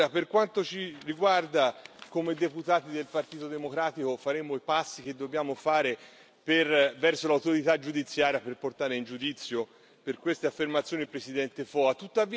Per quanto ci riguarda, come deputati del Partito Democratico faremo i passi che dobbiamo fare verso l'autorità giudiziaria per portare in giudizio per queste affermazioni il presidente Foa.